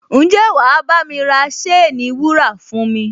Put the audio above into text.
Ǹjẹ́ wà á bámi ra ṣéènì wúrà fún mi?